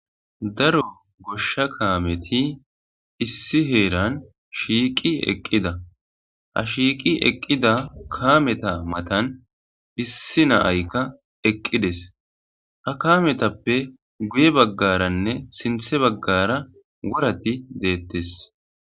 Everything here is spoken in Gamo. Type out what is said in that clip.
Daro goshsha kaameti issi heeran shiiqi eqqida ha shiiqi eqqida kaameta matan issi naayka eqqides ha kametappe guye baggaranne sinthe baggara worati deettes.